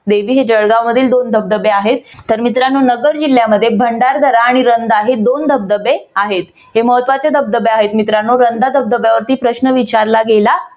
देवी हे जळगावमधील दोन धबधबे आहेत. तर मित्रानो नगर जिल्ह्यामध्ये भंडारदरा आणि रंधा हे दोन धबधबे आहेत हे महत्वाचे धबधबे आहेत. मित्रांनो रंधा धबधब्यावरती प्रश्न विचारला गेला